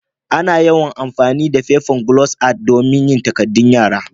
Ana yawan amfani da fefan glos art dan yin takadun yara.